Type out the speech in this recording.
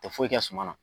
Tɛ foyi kɛ suma na